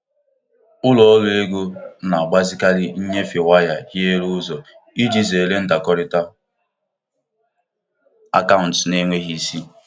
um Ụlọakụ ahụ mara ya ọkwa na nkwụnye ego um ozugbo o mere jiri amaghị ama bufere um na-akaụntụ onye ha amaghị.